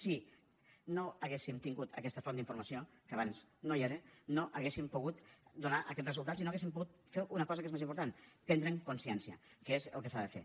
si no haguéssim tingut aquesta font d’informació que abans no hi era no hauríem pogut donar aquests resultats i no hauríem pogut fer una cosa que és més important prendre’n consciència que és el que s’ha de fer